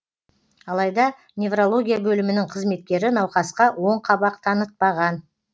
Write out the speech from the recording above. алайда неврология бөлімінің қызметкері науқасқа оң қабақ танытпаған